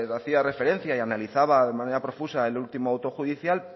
hacía referencia y analizaba de manera profusa el último auto judicial